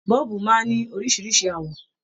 Bọ́ọ̀bù máa ń ní oríṣìíríṣìí àwọ̀